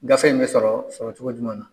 Gafe in bɛ sɔrɔ sɔrɔ cogo jumɛn na?